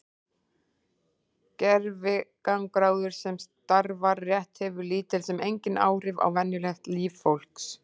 Gervigangráður sem starfar rétt hefur lítil sem engin áhrif á venjulegt líf fólks.